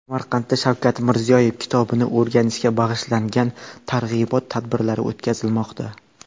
Samarqandda Shavkat Mirziyoyev kitobini o‘rganishga bag‘ishlangan targ‘ibot tadbirlari o‘tkazilmoqda.